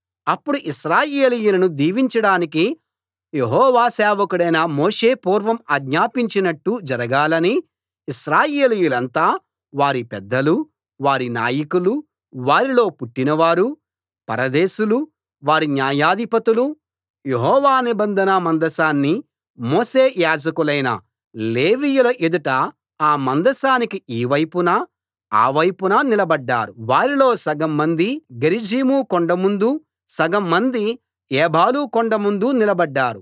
అప్పుడు ఇశ్రాయేలీయులను దీవించడానికి యెహోవా సేవకుడైన మోషే పూర్వం ఆజ్ఞాపించినట్టు జరగాలని ఇశ్రాయేలీయులంతా వారి పెద్దలూ వారి నాయకులూ వారిలో పుట్టినవారూ పరదేశులూ వారి న్యాయాధిపతులూ యెహోవా నిబంధన మందసాన్ని మోసే యాజకులైన లేవీయుల ఎదుట ఆ మందసానికి ఈ వైపున ఆ వైపున నిలబడ్డారు వారిలో సగం మంది గెరిజీము కొండ ముందూ సగం మంది ఏబాలు కొండ ముందూ నిలబడ్డారు